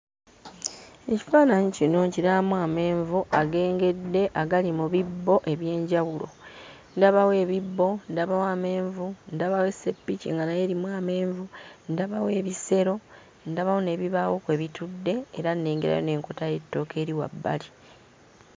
Ekifaananyi kino nkirabamu amenvu agengedde agali mu bibbo eby'enjawulo. Ndabawo ebibbo, ndabawo amenvu, ndabawo eseppiki nga nayo erimu amenvu, ndabawo ebisero, ndabawo n'ebibaawo kwe bitudde era nnengerayo n'enkota y'ettooke eri wabbali.